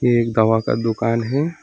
ये एक दवा का दुकान है।